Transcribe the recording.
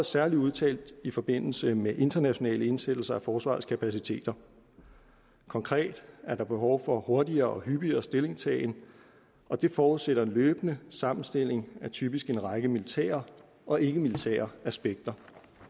særlig udtalt i forbindelse med internationale indsættelser af forsvarets kapaciteter konkret er der behov for hurtigere og hyppigere stillingtagen og det forudsætter en løbende sammenstilling af typisk en række militære og ikkemilitære aspekter